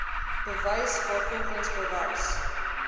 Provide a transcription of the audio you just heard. bewys waarvolgens bewys